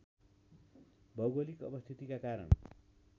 भौगोलिक अवस्थितिका कारण